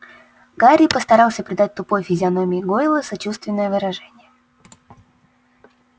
гарри постарался придать тупой физиономии гойла сочувственное выражение